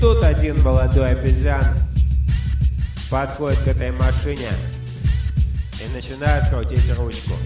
тот один молодой обезьян подходит к этой машине и начинает крутить ручку